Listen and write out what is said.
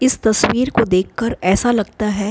इस तस्वीर को देखकर ऐसा लगता है --